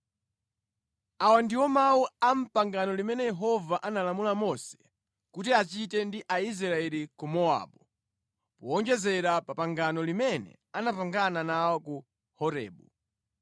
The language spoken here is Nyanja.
Awa ndiwo mawu a mʼpangano limene Yehova analamula Mose kuti achite ndi Aisraeli ku Mowabu, powonjezera pa pangano limene anapangana nawo ku Horebu.